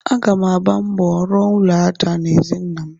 Aga m agba mbọ rụọ ụlọ aja n'ezi nnam.